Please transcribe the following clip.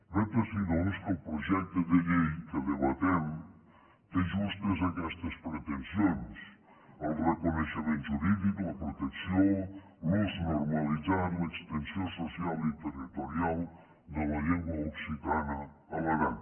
vet ací doncs que el projecte de llei que debatem té justes aquestes pretensions el reconeixement jurídic la protecció l’ús normalitzat l’extensió social i territorial de la llengua occitana a l’aran